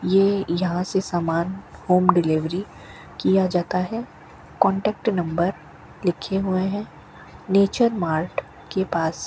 ये यहां से सामान होम डिलीवरी किया जाता है कांटेक्ट नंबर लिखे हुए हैं नेचर मार्ट के पास --